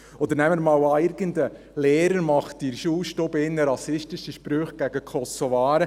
Oder nehmen wir einmal an, irgendein Lehrer mache in der Schulstube rassistische Sprüche gegen die Kosovaren.